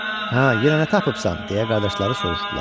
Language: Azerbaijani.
Hə, yenə nə tapıbsan? – deyə qardaşları soruşdular.